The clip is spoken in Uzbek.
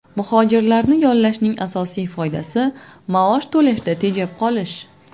Muhojirlarni yollashning asosiy foydasi maosh to‘lashda tejab qolish.